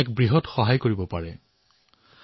নিজৰ দায়িত্ব পালন কৰিম